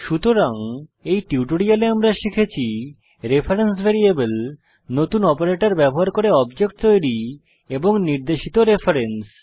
সুতরাং এই টিউটোরিয়ালে আমরা শিখেছি রেফারেন্স ভ্যারিয়েবল নতুন অপারেটর ব্যবহার করে অবজেক্ট তৈরী এবং নির্দেশিত রেফারেন্স